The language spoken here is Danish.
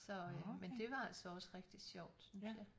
Så øh men det var altså også rigtig sjovt synes jeg